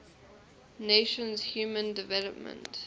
nations human development